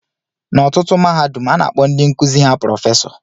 N'ọtụtụ mahadum, a na-akpọ ndị nkuzi ha prọfesọ